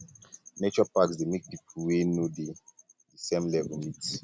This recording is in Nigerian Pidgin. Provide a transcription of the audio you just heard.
nature parks dey make pipo wey um no dey di um same level meet